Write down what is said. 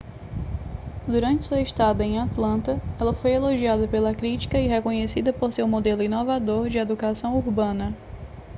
durante sua estada em atlanta ela foi elogiada pela crítica e reconhecida por seu modelo inovador de educação urbana